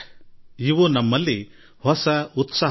ಕಳೆದ ವರ್ಷ ನಾವು ಹಲವು ಪರೀಕ್ಷೆಗಳನ್ನು ಎದುರಿಸಿದೆವು